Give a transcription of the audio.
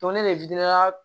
Don ne